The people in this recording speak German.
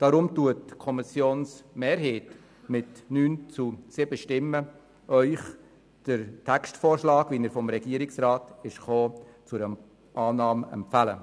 Deshalb empfiehlt Ihnen die Kommissionsmehrheit mit 9 zu 7 Stimmen den Textvorschlag des Regierungsrats zur Annahme.